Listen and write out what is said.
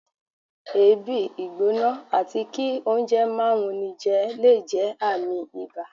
èébi, ìgbóná atí kí oúnjẹ máà wúníjé le jé ààmì ìbá